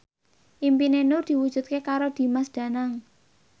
impine Nur diwujudke karo Dimas Danang